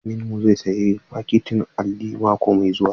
Malamin mu zai sayi fakitin alli mako mai zuwa.